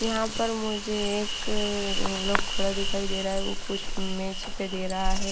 यहाँ पर मुझे एक लोग खोड़ा दिखाई दे रहा है वो कुछ मैच पे दे रहा है।